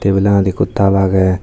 tebil aanot ekko taal agey.